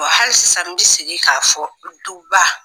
wa halisa n bɛ segin k'a fɔ duba.